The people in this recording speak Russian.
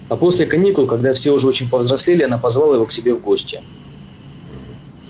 а после каникул когда все уже очень повзрослели она позвала его к себе в гости